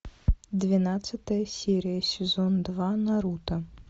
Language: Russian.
двенадцатая серия сезон два наруто